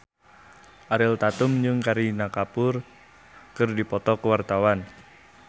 Ariel Tatum jeung Kareena Kapoor keur dipoto ku wartawan